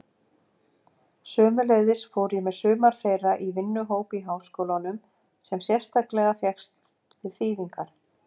Sömuleiðis fór ég með sumar þeirra í vinnuhóp í háskólanum sem sérstaklega fékkst við þýðingar.